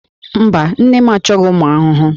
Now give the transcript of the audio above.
Mba, nne m achọghị ụmụ ahụhụ